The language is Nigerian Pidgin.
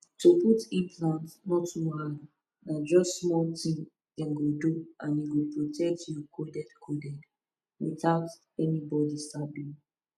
to put implant no too hard na just small thing dem go do and e go protect you coded coded without anybody sabi